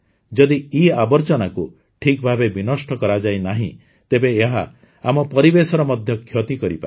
ଯଦି ଇଆବର୍ଜନାକୁ ଠିକଭାବେ ବି ନଷ୍ଟ କରାଯାଇ ନାହିଁ ତେବେ ଏହା ଆମ ପରିବେଶର ମଧ୍ୟ କ୍ଷତି କରିପାରେ